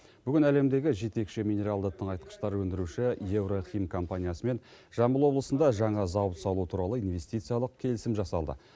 бүгін әлемдегі жетекші минералды тыңайтқыштар өндіруші еврохим компаниясымен жамбыл облысында жаңа зауыт салу туралы инвестициялық келісім жасалды